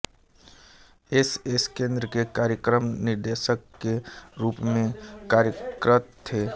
S S केंद्र के कार्यक्रम निदेशक के रूप में कार्यरत थे